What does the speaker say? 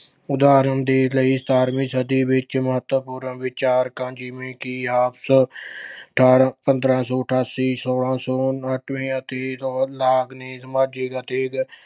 ਉਦਾਹਰਨ ਦੇ ਲਈ ਸਤਾਰਵੀਂ ਸਦੀ ਵਿੱਚ ਮਹੱਤਵਪੂਰਨ ਵਿਚਾਰਕਾਂ ਜਿਵੇਂ ਕਿ ਆਠਾਰਾਂ ਅਹ ਪੰਦਰਾਂ ਸੌ ਅਠਾਸੀ, ਸੋਲਾਂ ਸੌ ਉਨਾਨਵੇਂ ਅਤੇ ਸਮਾਜਿਕ ਅਤੇ